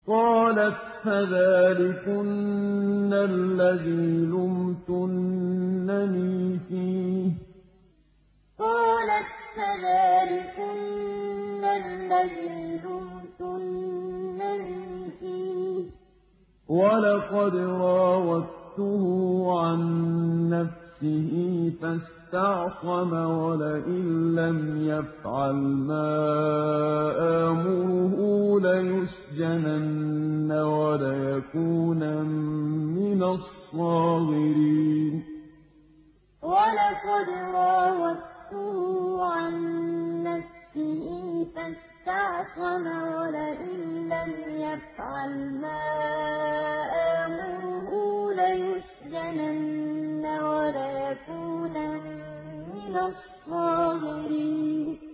قَالَتْ فَذَٰلِكُنَّ الَّذِي لُمْتُنَّنِي فِيهِ ۖ وَلَقَدْ رَاوَدتُّهُ عَن نَّفْسِهِ فَاسْتَعْصَمَ ۖ وَلَئِن لَّمْ يَفْعَلْ مَا آمُرُهُ لَيُسْجَنَنَّ وَلَيَكُونًا مِّنَ الصَّاغِرِينَ قَالَتْ فَذَٰلِكُنَّ الَّذِي لُمْتُنَّنِي فِيهِ ۖ وَلَقَدْ رَاوَدتُّهُ عَن نَّفْسِهِ فَاسْتَعْصَمَ ۖ وَلَئِن لَّمْ يَفْعَلْ مَا آمُرُهُ لَيُسْجَنَنَّ وَلَيَكُونًا مِّنَ الصَّاغِرِينَ